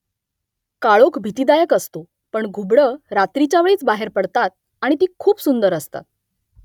काळोख भीतीदायक असतो . पण घुबडं रात्रीच्या वेळीच बाहेर पडतात . आणि ती खूप सुंदर असतात